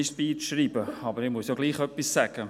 Aber ich muss ja trotzdem etwas sagen.